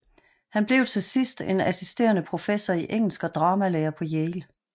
Han blev til sidst en assisterende professor i engelsk og dramalærer på Yale